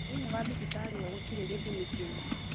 Thĩiniĩ wa thibitarĩ ĩo gũtirĩ gĩthimi kĩu